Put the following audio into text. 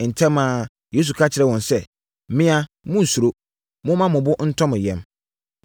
Ntɛm ara, Yesu ka kyerɛɛ wɔn sɛ, “Me a. Monnsuro. Momma mo bo ntɔ mo yam!”